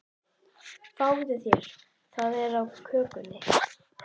Fáðu þér, það er á könnunni.